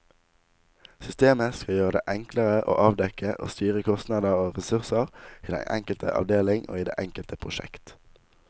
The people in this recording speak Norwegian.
Systemet skal gjøre det enklere å avdekke og styre kostnader og ressurser i den enkelte avdeling og i det enkelte prosjekt.